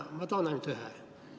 Ma toon neist ainult ühe.